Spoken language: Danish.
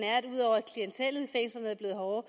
og